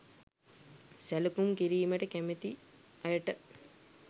සැලකුම් කිරීමට කැමති අයට